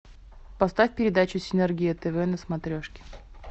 поставь передачу синергия тв на смотрешке